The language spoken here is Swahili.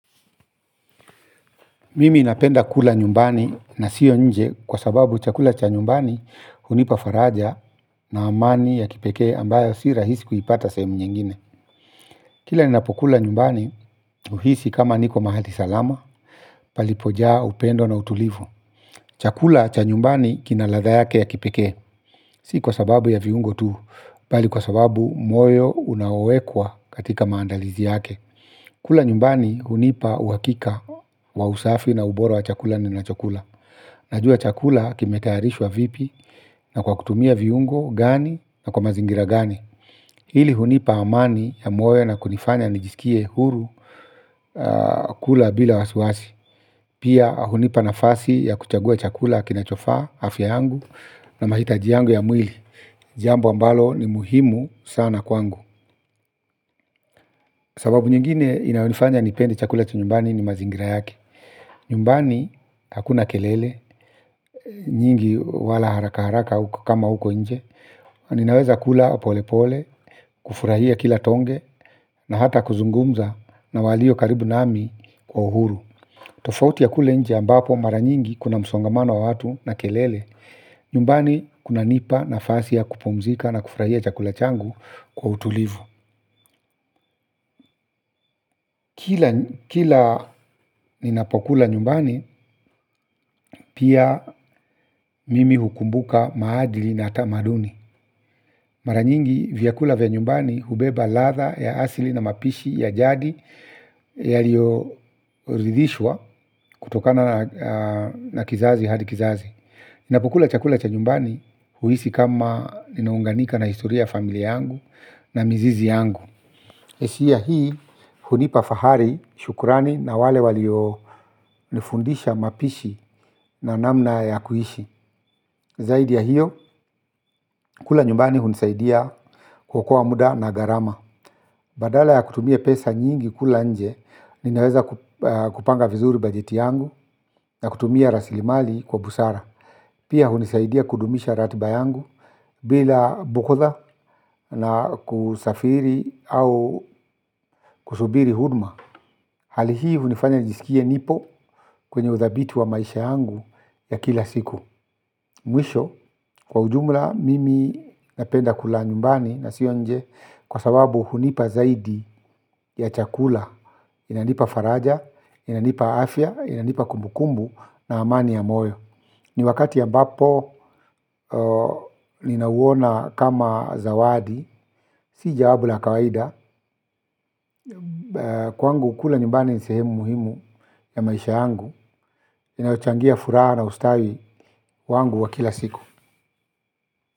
Mimi napenda kula nyumbani na sio nje kwa sababu chakula cha nyumbani hunipa faraja na amani ya kipekee ambayo si rahisi kuipata sehemu nyingine. Kila ninapokula nyumbani huhisi kama niko mahali salama palipojaa upendo na utulivu. Chakula cha nyumbani kina ladha yake ya kipekee si kwa sababu ya viungo tu bali kwa sababu moyo unaowekwa katika maandalizi yake. Kula nyumbani hunipa uhakika wa usafi na ubora wa chakula ninachokula. Najua chakula kimetayarishwa vipi na kwa kutumia viungo gani na kwa mazingira gani. Hili hunipa amani ya moyo na kunifanya nijiskie huru kula bila wasiwasi. Pia hunipa nafasi ya kuchagua chakula kinachofaa afya yangu na mahitaji yangu ya mwili. Jambo ambalo ni muhimu sana kwangu. Sababu nyingine inayonifanya nipende chakula cha nyumbani ni mazingira yake. Nyumbani, hakuna kelele, nyingi wala haraka haraka kama huko nje. Ninaweza kula polepole, kufurahia kila tonge na hata kuzungumza na walio karibu nami kwa uhuru. Tofauti ya kule nje ambapo mara nyingi kuna msongamano wa watu na kelele. Nyumbani, kunanipa nafasi ya kupumzika na kufurahia chakula changu kwa utulivu. Kila ninapokula nyumbani pia mimi hukumbuka maadili na tamaduni. Mara nyingi vyakula vya nyumbani hubeba ladha ya asili na mapishi ya jadi. Yaliyoridhishwa kutokana na kizazi hadi kizazi. Ninapokula chakula cha nyumbani huhisi kama ninaunganika na historia ya familia yangu na mizizi yangu. Hisia hii hunipa fahari, shukrani na wale walionifundisha mapishi na namna ya kuishi. Zaidi ya hiyo, kula nyumbani hunisaidia kuokoa muda na gharama. Badala ya kutumia pesa nyingi kula nje, ninaweza kupanga vizuri bajeti yangu na kutumia rasilimali kwa busara. Pia hunisaidia kudumisha ratiba yangu bila bughudha na kusafiri au kusubiri huduma. Hali hii hunifanya nijiskie nipo kwenye uthabiti wa maisha yangu ya kila siku. Mwisho kwa ujumla mimi napenda kula nyumbani na sio nje kwa sababu hunipa zaidi ya chakula. Inanipa faraja, inanipa afya, inanipa kumbukumbu na amani ya moyo. Ni wakati ambapo ninauona kama zawadi, si jawabu la kawaida. Kwangu kula nyumbani ni sehemu muhimu ya maisha yangu inayochangia furaha na ustawi wangu wa kila siku.